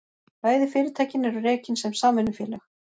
Bæði fyrirtækin eru rekin sem samvinnufélög